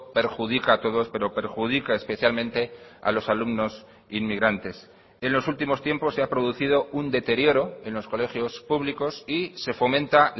perjudica a todos pero perjudica especialmente a los alumnos inmigrantes en los últimos tiempos se ha producido un deterioro en los colegios públicos y se fomenta